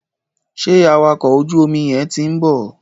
Sẹ́ awakọ̀ ojú omi yẹn ti ń bọ̀?